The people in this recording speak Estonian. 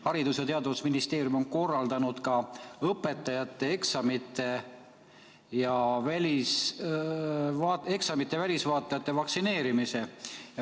Haridus- ja Teadusministeerium on korraldanud ka õpetajate ja eksamite välisvaatlejate vaktsineerimise.